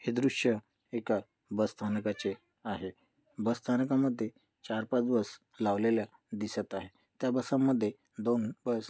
हे दृश्य एक बसस्थानकाचे आहे बसस्थानकामध्ये चार पांच बस लावलेल्या दिसत आहे त्या बसमध्ये दोन बस --